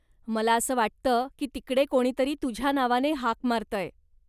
मला असं वाटतं की तिकडे कोणीतरी तुझ्या नावाने हाक मारतय.